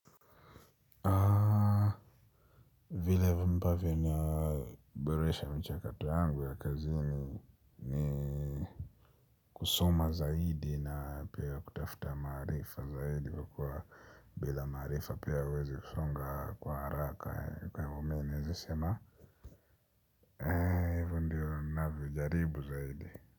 Vile ambavyo naboresha mchakato yangu ya kazini ni kusoma zaidi na pia kutafuta maarifa zaidi kwa kwa bila maarifa pia huwezi kusonga kwa haraka kwa hivyo mi husema hivyo ndiyo ni navyo jaribu zaidi.